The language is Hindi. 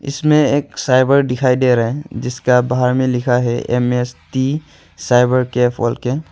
इसमें एक साइन बोर्ड दिखाई दे रहा है जिसका बाहर में लिखा है एम_एस_टी साइबरकैफ बोल के--